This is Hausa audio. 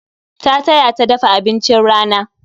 Ta taya ta dafa abincin rana